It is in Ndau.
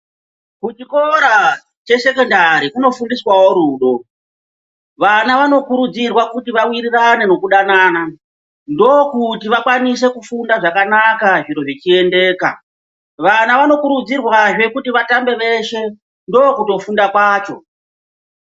Kuchikora chesekondari kunofundiswawo rudo vana vanokurudzirwa kuti vawirirane nekudanana ndokuti vakwanise kufunda zvakanaka zviro zvichiyendeka vana vanokurudzirwazve kuti vatambe veshe ndokutofunda kwacho.